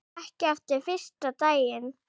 Ekki eftir fyrsta daginn.